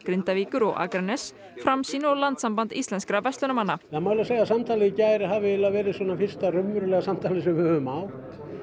Grindavíkur og Akraness Framsýn og Landssamband Íslenskra verslunarmanna það má segja að samtalið í gær hafi verið fyrsta raunverulega samtalið sem við höfum átt